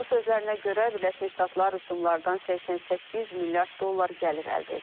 Onun sözlərinə görə, Birləşmiş Ştatlar rüsumlardan 88 milyard dollar gəlir əldə edib.